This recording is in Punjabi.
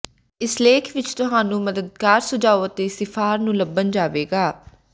ਇਸ ਲੇਖ ਵਿੱਚ ਤੁਹਾਨੂੰ ਮਦਦਗਾਰ ਸੁਝਾਅ ਅਤੇ ਿਸਫ਼ਾਰ ਨੂੰ ਲੱਭਣ ਜਾਵੇਗਾ